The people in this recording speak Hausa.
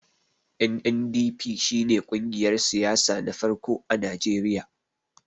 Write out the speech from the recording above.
NNDP shi ne kungiyar siyasa na farko a Najeriya.